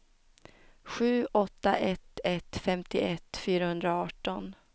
sju åtta ett ett femtioett fyrahundraarton